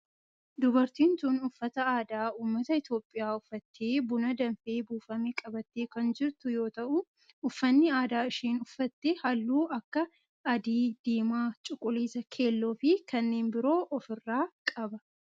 Dubartiin tun uffata aadaa ummata Itiyoophiyaa uffattee buna danfee buufame qabattee kan jirtu yoo ta'u uffanni aadaa isheen uffatte halluu akka adii, diimaa, cuquliisa, keelloo fi kanneen biroo of irraa qaba.